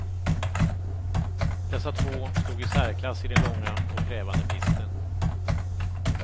Dessa två stod i särklass i den långa och krävande pisten.